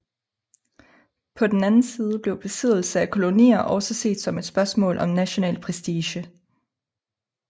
På den anden side blev besiddelse af kolonier også set som en spørgsmål om national prestige